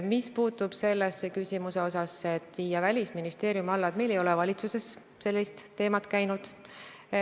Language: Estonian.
Mis puutub küsimuse sellesse osasse, et EAS-i välisesindused viiakse Välisministeeriumi alla, siis meil ei ole valitsuses sellist teemat läbi käinud.